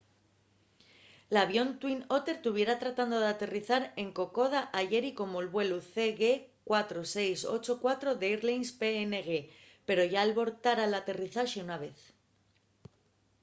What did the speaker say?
l’avión twin otter tuviera tratando d’aterrizar en kokoda ayeri como’l vuelu cg4684 d’airlines png pero yá albortara l’aterrizaxe una vez